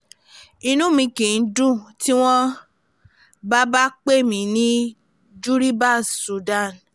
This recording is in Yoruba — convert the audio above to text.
inú mi kìí dùn tí wọ́n bá bá pè mí ní juribas sudan